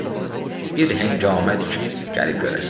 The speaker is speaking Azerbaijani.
Bir hängamədir ki, gəlib görəsən.